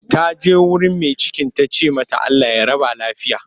Ta je wurin mai cikin ta ce mata 'Allah ya raba lafiya'